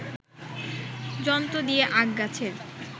যন্ত্র দিয়ে আখ গাছের